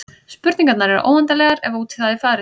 Spurningarnar eru óendanlegar ef út í það er farið.